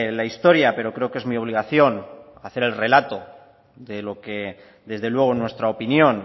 la historia pero creo que es mi obligación de hacer el relato de lo que desde luego en nuestra opinión